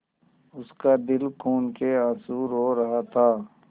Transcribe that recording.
उसका दिल खून केआँसू रो रहा था